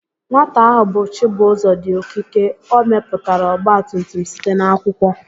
Nwata ahụ bụ Chibuzọ dị okike, o mepụtara ọgbatumtum site n'akwụkwọ